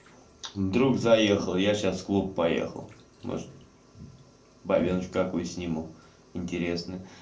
друг заехал я сейчас клуб поехал может бабёночку какую-нибудь сниму интересно